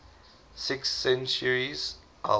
sixth centuries helped